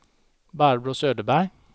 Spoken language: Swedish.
Barbro Söderberg